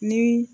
Ni